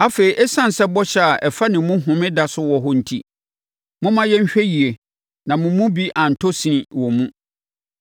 Afei, ɛsiane sɛ bɔhyɛ a ɛfa ne mu home da so wɔ hɔ enti, momma yɛnhwɛ yie na mo mu bi antɔ sini wɔ mu.